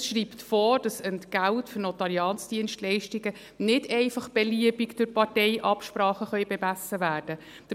Dieses schreibt vor, dass das Entgelt für Notariatsdienstleistungen nicht einfach beliebig durch Parteiabsprachen bemessen werden kann.